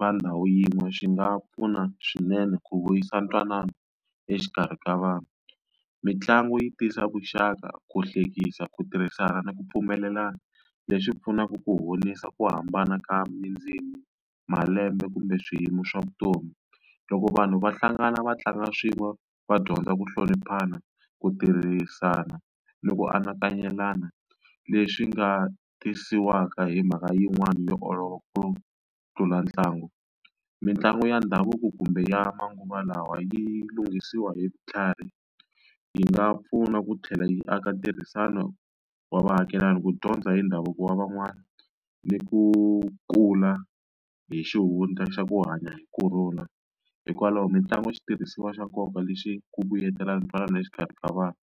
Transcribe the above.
va ndhawu yin'we swi nga pfuna swinene ku vuyisa ntwanano exikarhi ka vanhu mitlangu yi tisa vuxaka ku hlekisa ku tirhisana ni ku pfumelelana leswi pfunaka ku honisa ku hambana ka mi ndzimi malembe kumbe swiyimo swa vutomi loko vanhu va hlangana va tlanga swin'we va dyondza ku hloniphana ku tirhisana ni ku anakanya lelana leswi nga tisiwaka hi mhaka yin'wani yo olova ku tlula ntlangu mitlangu ya ndhavuko kumbe ya manguva lawa yi lunghisiwa hi vutlhari yi nga pfuna ku tlhela yi aka ntirhisano wa vaakelani ku dyondza hi ndhavuko wa van'wana ni ku kula hi xihundla xa ku hanya hi kurhula hikwalaho mitlangu xitirhisiwa xa nkoka lexi ku vuyelelana ntwanano exikarhi ka vanhu.